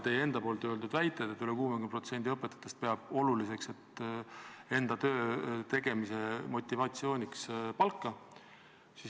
Te ise ütlesite, et üle 60% õpetajatest peab oluliseks töötegemise motivatsiooniks palka.